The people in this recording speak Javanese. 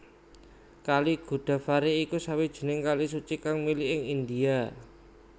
Kali Godavari iku sawijining kali suci kang mili ing India